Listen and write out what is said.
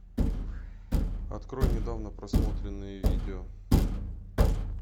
открой недавно просмотренные видео